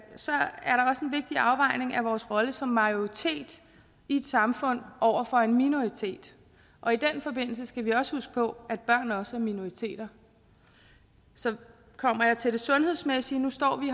vigtig afvejning af vores rolle som majoritet i et samfund over for en minoritet og i den forbindelse skal vi også huske på at børn også er minoriteter så kommer jeg til det sundhedsmæssige nu står vi